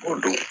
O don